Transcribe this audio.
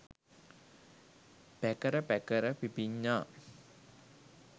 පැකර පැකර පිපිඤ්ඤා